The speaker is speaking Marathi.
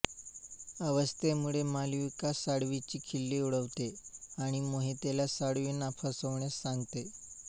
अस्वस्थतेमुळे मालविका साळवींची खिल्ली उडवते आणि मोहितला साळवींना फसवण्यास सांगते